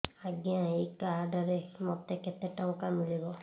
ଆଜ୍ଞା ଏଇ କାର୍ଡ ରେ ମୋତେ କେତେ ଟଙ୍କା ମିଳିବ